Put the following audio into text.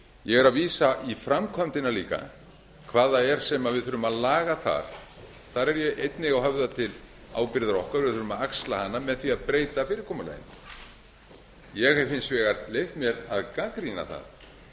ég er líka að vísa í framkvæmdina hvað það er sem við þurfum að laga þar þar hef ég einnig höfðað til ábyrgðar okkar við þurfum að axla hana með því að breyta fyrirkomulaginu ég hef hins vegar leyft mér að gagnrýna það